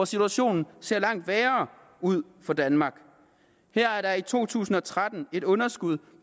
situationen ser langt værre ud for danmark her er der i to tusind og tretten et underskud